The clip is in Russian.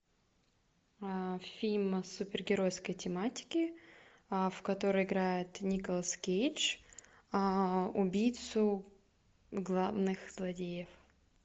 фильм супергеройской тематики в котором играет николас кейдж убийцу главных злодеев